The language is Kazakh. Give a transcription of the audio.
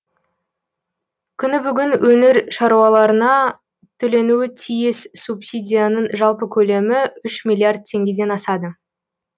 күні бүгін өңір шаруаларына төленуі тиіс субсидияның жалпы көлемі үш миллиард теңгеден асады